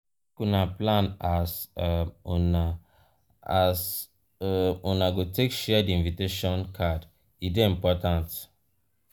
make una plan as um una as um una go take share di invitation card e dey important.